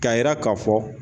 K'a yira k'a fɔ